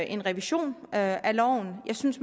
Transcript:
en revision af loven jeg synes